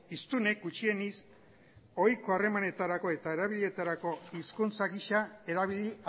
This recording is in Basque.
hiztunek gutxienez ohiko harremanetarako eta erabiletarako hizkuntza gisa erabili